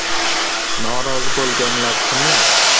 Norozi bo‘lganlar kimlar?